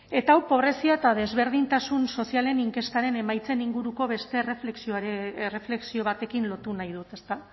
eta hau pobrezia eta desberdintasun sozialen inkestaren emaitzen inguruko beste erreflexio batekin lotu nahi dut